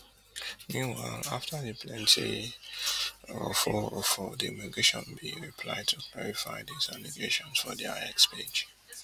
meanwhile afta di plenti roforrofor di immigration bin reply to clarify dis allegations for dia x page